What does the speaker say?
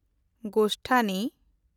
ᱜᱳᱥᱛᱷᱟᱱᱤ